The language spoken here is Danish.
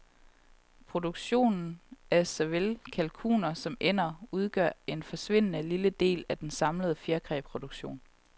Produktionen af såvel kalkuner som ænder udgør en forsvindende lille del af den samlede fjerkræproduktion.